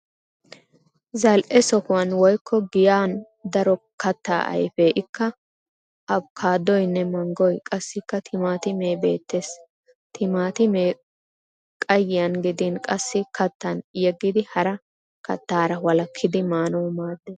Zal'e sohuwan woykko giyan daro kattaa ayfee ikka abokkaadoyinne manggoyi qassikka timaatimee beettes. Timaatimee qayyiyan gidin qassi kattan yeggidi hara kattaara wolakkidi maanawu maaddes.